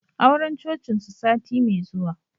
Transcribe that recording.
Auren Cocin su sati mai zuwa